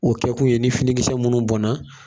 O kɛkun ye ni finikisɛ minnu bɔnna